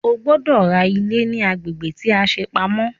O gbọ́dọ̀ ra ilé ní agbègbè tí a ṣe pamọ́!